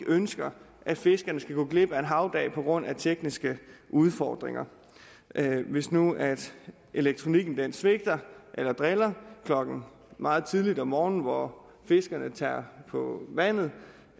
ønsker at fiskerne skal gå glip af en havdag på grund af tekniske udfordringer hvis nu elektronikken svigter eller driller klokken meget tidligt om morgenen hvor fiskerne tager på vandet